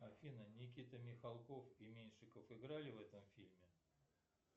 афина никита михалков и меньшиков играли в этом фильме